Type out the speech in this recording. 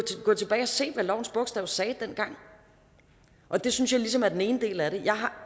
gå tilbage og se hvad lovens bogstav sagde dengang og det synes jeg ligesom er den ene del af det jeg har